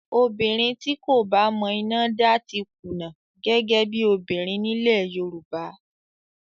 Obìnrin tí kò bá mọ iná dá ti kùnà gẹ́gẹ́ bí obìnrin nílẹ̀ Yorùbá